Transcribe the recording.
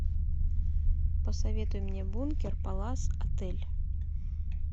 посоветуй мне бункер палас отель